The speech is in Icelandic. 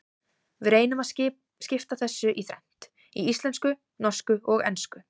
Við reynum að skipta þessu í þrennt, í íslensku, norsku og ensku.